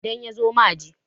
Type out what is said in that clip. idan ya zo ma je!